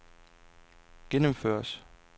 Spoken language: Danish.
gennemføres